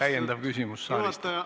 Aitäh, austatud juhataja!